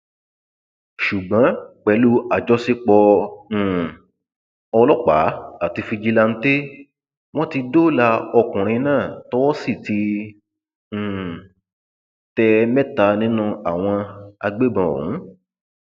ṣùgbọn pẹlú àjọṣepọ um ọlọpàá àti fíjíláńtẹ wọn ti dóòlà ọkùnrin náà tọwọ sì ti um tẹ mẹta nínú àwọn agbébọn ọhún